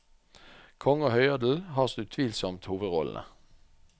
Konge og høyadel har så utvilsomt hovedrollene.